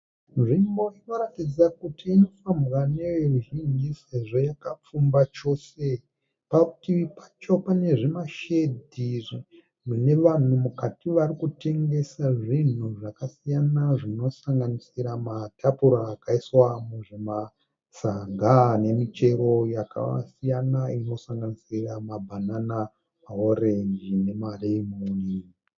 Nzvimbo inoratidza kuti inofambwa neveruzhinji sezvo yakapfumba chose. Parutivi pacho pane zvimashedhi zvine vanhu mukati vakutengesa zvinhu zvakasiyana zvinosanganisira matapura akaiswa muzvimasaga nemichero yakasiyana inosanganisira mabanana maorenji nemalemon.